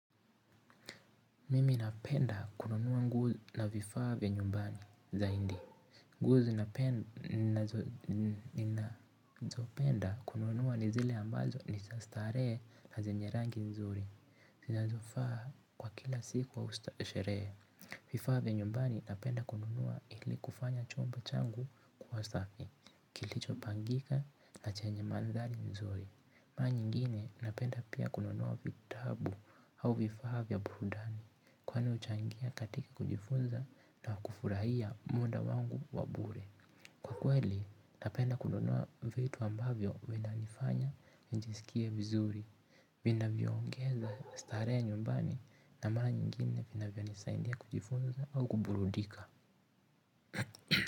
Mimi napenda kununua nguo na vifaa vya nyumbani zaindi. Nguo ninazopenda kununua ni zile ambazo ni staree na zenye rangi nzuri. Zina zofaa kwa kila siku wa usta shere. Vifaa vya nyumbani napenda kununua ili kufanya chumba changu kuwa safi. Kilicho pangika na chenye manthari nzuri. Mara nyingine napenda pia kununua vitabu au vifaa vya burudani kwani uchangia katika kujifunza na kufurahia muda wangu wa bure. Kwa kweli napenda kununua vitu ambavyo vina nifanya nijisikie vizuri. Vina niongeza staree nyumbani na mara nyingine vinavyo nisaindia kujifunza au kuburudika.